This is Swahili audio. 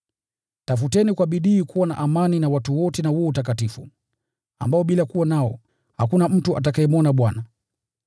Tafuteni kwa bidii kuwa na amani na watu wote na huo utakatifu, ambao bila kuwa nao hakuna mtu atakayemwona Bwana.